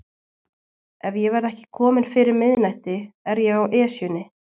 Ef ég verð ekki kominn fyrir miðnætti er ég á Esjunni